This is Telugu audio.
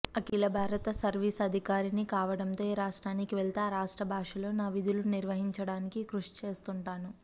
అఖిలభారత సర్వీసు అధికారిని కావడంతో ఏ రాష్ట్రానికి వెళ్తే ఆ రాష్ట్ర భాషలో నా విధులు నిర్వర్తించడానికి కృషి చేస్తుంటాను